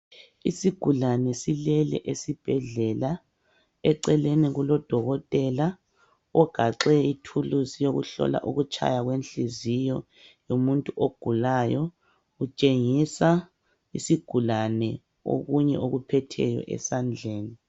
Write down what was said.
Isgulani silele esibhedlela eceleni kulodokotela ogaxe ithulusi yokuhlola ukutshaya kwenhliziyo yomuntu ogulayo . Utshengisa isigulane okunye okuphetheyo esandleni